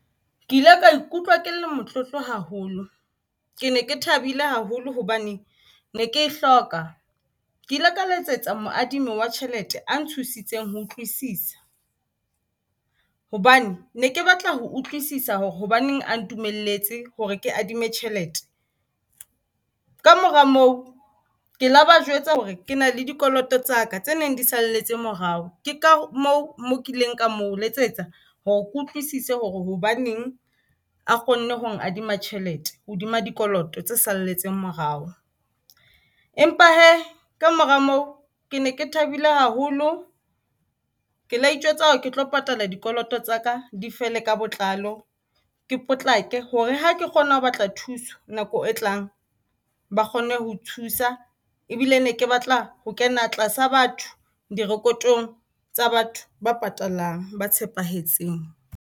Ke ile ka ikutlwa ke le motlotlo haholo. Ke ne ke thabile haholo hobane ne ke e hloka.Ke ile ka letsetsa moadimi wa tjhelete a nthusitseng ho utlwisisa, hobane ne ke batla ho utlwisisa hore hobaneng a ntumelletse hore ke adime tjhelete. Ka mora moo, ke la ba jwetsa hore ke na le dikoloto tsaka tse neng di salletse morao. Ke ka moo ke ileng ka mo letsetsa ho ke utlwisise hore hobaneng a kgonne ho nkadima tjhelete hodima dikoloto tse salletseng morao. Empa hee ka mora moo ke ne ke thabile haholo, ke la itjwetsa hore ke tlo patala dikoloto tsaka di fele ka botlalo. Ke potlake hore ha ke kgona ho batla thuso nako e tlang. Ba kgone ho thusa ebile ne ke batla ho kena tlasa batho direpotong tsa batho ba patalang, ba tshepahetseng.